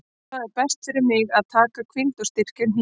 Það er best fyrir mig að taka hvíld og styrkja hnéð.